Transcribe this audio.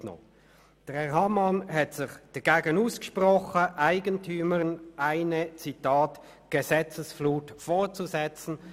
Er hat sich dagegen ausgesprochen, Eigentümern eine «Gesetzesflut vorzusetzen».